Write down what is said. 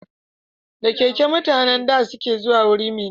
Da keke mutanen da ke zuwa guri mai nisa